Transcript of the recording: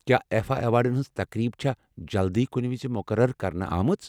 کیٚا آیفا ایوارڈن ہنز تقریب چھا جلدی کُنہِ وِزِ مُقرر کرنہٕ آمٕژ؟